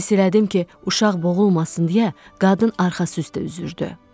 Hiss elədim ki, uşaq boğulmasın deyə qadın arxası üstə üzürdü.